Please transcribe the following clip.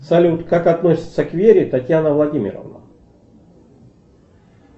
салют как относится к вере татьяна владимировна